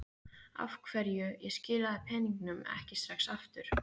Af hverju ég skilaði peningunum ekki strax aftur.